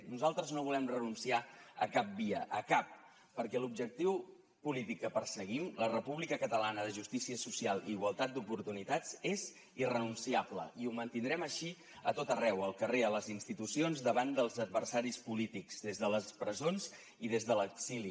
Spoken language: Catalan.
nosaltres no volem renunciar a cap via a cap perquè l’objectiu polític que perseguim la república catalana de justícia social i igualtat d’oportunitats és irrenunciable i ho mantindrem així a tot arreu al carrer a les institucions davant dels adversaris polítics des de les presons i des de l’exili